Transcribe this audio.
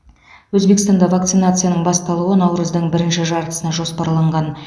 өзбекстанда вакцинацияның басталуы наурыздың бірінші жартысына жоспарланған